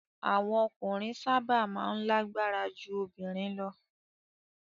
Awon okunrin saba maa n lagbara ju obirin lo